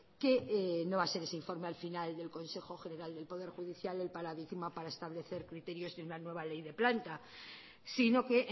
que no va a ser ese informe al final del consejo general del poder judicial el paradigma para establecer criterios y una nueva ley de planta si no que